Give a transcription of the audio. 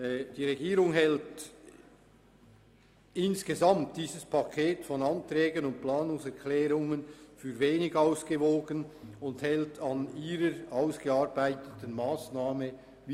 Die Regierung erachtet dieses Paket von Anträgen und Planungserklärungen insgesamt als wenig ausgewogen und hält an der von ihr ausgearbeiteten Massnahme fest.